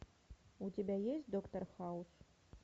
у тебя есть доктор хаус